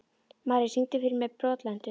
Marri, syngdu fyrir mig „Brotlentur“.